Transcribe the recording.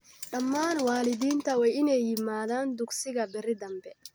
Dhammaan waalidiinta waa ineey yimaadaan dugsigaa berii danbe.